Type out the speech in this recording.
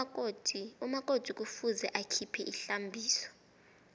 umakoti kufuze akhiphe ihlambiso